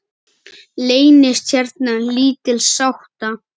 Leynist hérna lítil sáta.